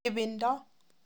Ibindo.